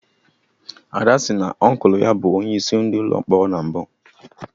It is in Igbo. Ada sị na Ọnkụlụ ya bụ onye isi Ụlọ mkpọrọ na mbụ